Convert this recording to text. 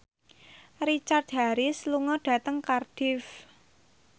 Richard Harris lunga dhateng Cardiff